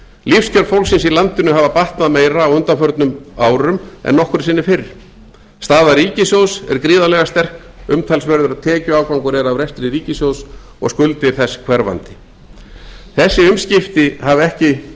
lífskjör fólksins í landinu hafa batnað meira á undanförnum árum en nokkru sinni fyrr staða ríkissjóðs er gríðarlega sterk umtalsverður tekjuafgangur er af rekstri ríkissjóðs og skuldir þess hverfandi þessi umskipti hafa ekki gerst